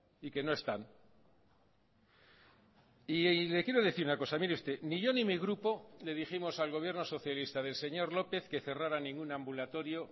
y que no están y le quiero decir una cosa mire usted ni yo ni mi grupo le dijimos al gobierno socialista del señor lópez que cerraran ningún ambulatorio